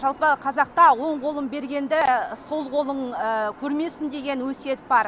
жалпы қазақта оң қолың бергенді сол қолың көрмесін деген өсиет бар